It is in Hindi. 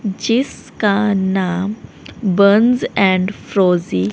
जिसका नाम बंज एंड फ्रोजी--